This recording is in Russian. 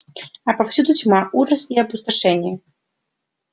а повсюду тьма ужас и опустошение